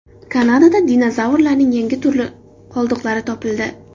Kanadada dinozavrlarning yangi turi qoldiqlari topildi.